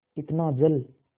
इतना जल